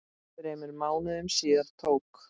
Þremur mánuðum síðar tók